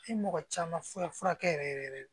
I mɔgɔ caman fura furakɛ yɛrɛ yɛrɛ